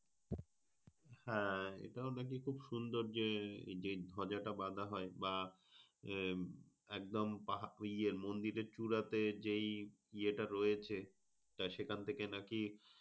আহ এটা নাকি খুব সুন্দর যে এই ধজা বাধা হয়? বা আহ একদম পাহা ওই ইয়ে মন্দিরের চুরাতে যেই ইয়েটা রয়েছে তা সেখান থেকে নাকি?